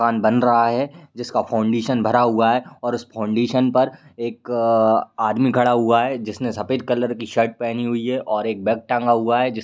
दुकान बन रहा है जिसका फौन्डिशन भरा हुआ है और उस फौन्डिशन पर एक अअअअ आदमी खड़ा हुआ है जिसने सफ़ेद कलर की शर्ट पहनी हुई है और एक बैग टंगा हुआ है जिस --